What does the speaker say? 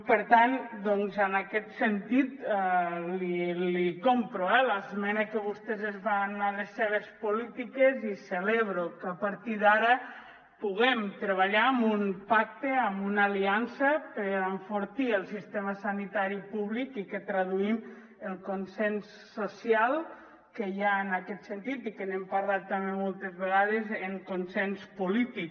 per tant doncs en aquest sentit li compro l’esmena que vostès es fan a les seves polítiques i celebro que a partir d’ara puguem treballar amb un pacte amb una aliança per enfortir el sistema sanitari públic i que traduïm el consens social que hi ha en aquest sentit i que n’hem parlat també moltes vegades en consens polític